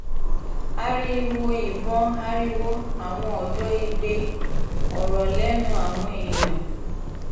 ariwo ìbọn ariwo àwọn ọ̀dọ́ igbe ọrọ̀ lẹ́nu àwọn èèyàn